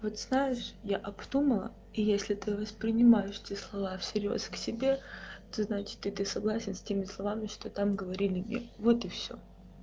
вот знаешь я обдумала и если ты воспринимаешь те слова всерьёз к себе то значит и ты согласен с теми словами что там говорили мне вот и всё